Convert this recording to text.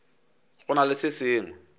go na le se sengwe